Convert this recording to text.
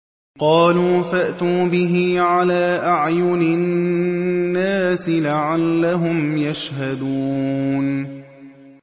قَالُوا فَأْتُوا بِهِ عَلَىٰ أَعْيُنِ النَّاسِ لَعَلَّهُمْ يَشْهَدُونَ